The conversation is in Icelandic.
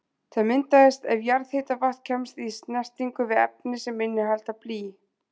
Þær myndast ef jarðhitavatn kemst í snertingu við efni sem innihalda blý.